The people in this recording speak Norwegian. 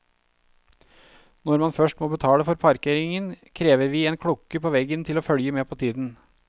Når man først må betale for parkeringen, krever vi en klokke på veggen til å følge med på tiden.